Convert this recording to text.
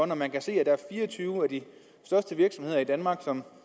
når man kan se at der er fire og tyve af de største virksomheder i danmark som